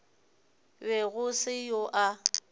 be go se yo a